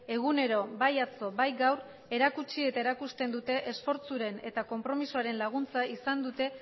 egunero bai atzo bai gaur erakutsi eta erakusten dute esfortzuren eta konpromezuaren laguntza izan dute